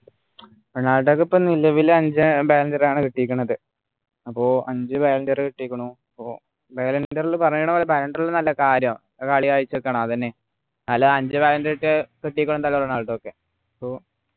റൊണാൾഡോക്ക് ഇപ്പൊ നിലവിൽ അഞ്ചു ballon d'or ആണ് കിട്ടിയേക്കുന്നത് അപ്പൊ അഞ്ചു ballon d'or ആണ് കുട്ടിക്കുണു പ്പോ ballon d'or പറയുന്ന പോലെ ballon d'or ഒന്നും അല്ല കാര്യം അത് കളി കളിച്ചിട്ടാണ് അതെന്നെ അല്ല അഞ്ചു ballon d'or കിട്ടിയ ആണ് റൊണാൾഡോ ഒക്കെ പ്പോ